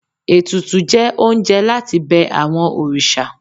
Etùtù jẹ oúnjẹ latí bẹ awọn òrìṣà